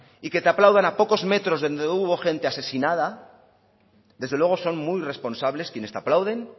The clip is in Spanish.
y que te aplaudan a pocos metros de donde hubo gente asesinada desde luego son muy irresponsables quienes te aplauden